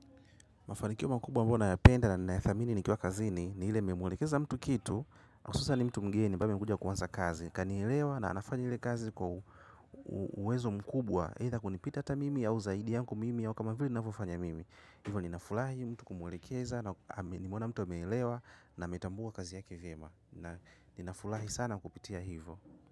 Mafanikio mkubwa ambayo nayapenda na ninyathamini nikiwa kazini ni ile nimemulekeza mtu kitu. Hususan mtu mgeni ambaye amekuja kuanza kazi, kanielewa na anafanya ile kazi kwa uwezo mkubwa eidha kunipita hata mimi au zaidi yangu mimi au kama vile ninavyo fanya mimi, hivyo ninafurahi mtu kumuelekeza nimeona mtu ameelewa na ametambua kazi yake vyema na ninafurahi sana kupitia hivyo.